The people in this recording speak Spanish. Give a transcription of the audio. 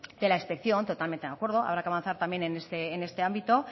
de la inspección totalmente de acuerdo habrá que avanzar también en este ámbito